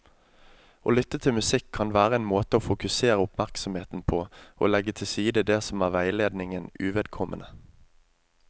Å lytte til musikk kan være en måte å fokusere oppmerksomheten på og legge til side det som er veiledningen uvedkommende.